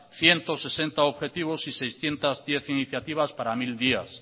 ciento sesenta objetivos y seiscientos diez iniciativas para mil días